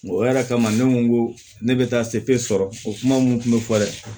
O yɛrɛ kama ne ko nko ne bɛ taa sɔrɔ o kuma mun kun bɛ fɔ dɛ